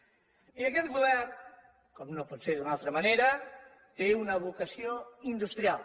i aquest govern com no pot ser d’una altra manera té una vocació industrial